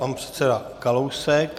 Pan předseda Kalousek.